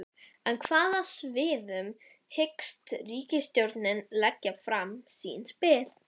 En á hvaða sviðum hyggst ríkisstjórnin leggja fram sín spil?